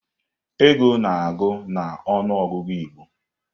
Ego na-agụ na ọnụ ọgụgụ Igbo.